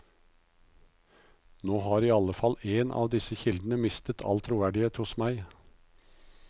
Nå har i alle fall én av disse kildene mistet all troverdighet hos meg.